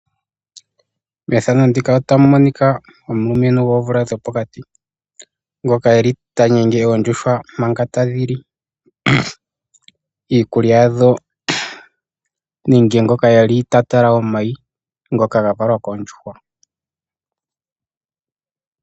Methano ndika otamu monika omulumentu goomvula dhopokati. Ngoka eli ta gumu oondjuhwa manga tadhi li iikulya yadho nenge ngoka eli ta tala omayi ngoka ga valwa koondjuhwa.